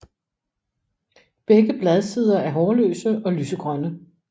Begge bladsider er hårløse og lysegrønne